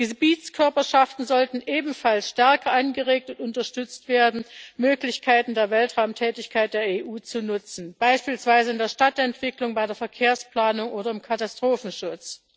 Gebietskörperschaften sollten ebenfalls stärker angeregt und unterstützt werden, Möglichkeiten der Weltraumtätigkeit der EU zu nutzen beispielsweise in der Stadtentwicklung, bei der Verkehrsplanung oder im Katastrophenschutz.